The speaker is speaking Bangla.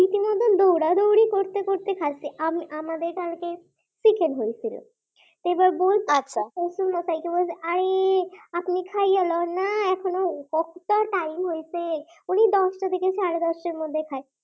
দৌড়াদৌড়ি করতে করতে খাইছে। আমাদের কালকে চিকেন হয়ে ছিল এবারে বোজ, শশুর মশাই কে বলছেন আই আপনি খাইয়ে লন না এখনো কতটা টাইম হইছে উনি দশটা থেকে সাড়ে দশটার মধ্যে খায়।